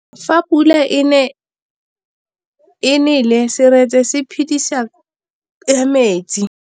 Fa pula e nelê serêtsê ke phêdisô ya metsi.